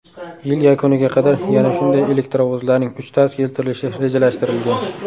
Yil yakuniga qadar yana shunday elektrovozlarning uchtasi keltirilishi rejalashtirilgan.